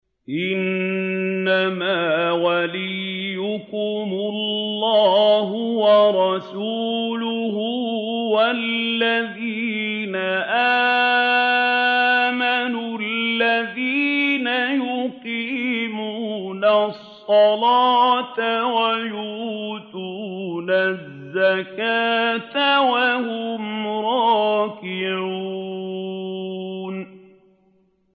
إِنَّمَا وَلِيُّكُمُ اللَّهُ وَرَسُولُهُ وَالَّذِينَ آمَنُوا الَّذِينَ يُقِيمُونَ الصَّلَاةَ وَيُؤْتُونَ الزَّكَاةَ وَهُمْ رَاكِعُونَ